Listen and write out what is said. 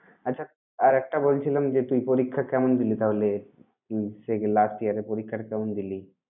আচ্ছা আর একটা বলছিলাম যে তুই পরীক্ষা কেমন দিলি তাহলে? সে~ last year র পরীক্ষা টা কেমন দিলি?